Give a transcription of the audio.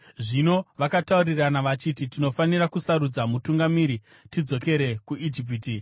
Zvino vakataurirana vachiti, “Tinofanira kusarudza mutungamiri tidzokere kuIjipiti.”